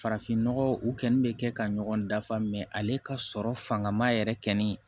Farafinnɔgɔ u kɛni bɛ kɛ ka ɲɔgɔn dafa ale ka sɔrɔ fanga ma yɛrɛ kɔni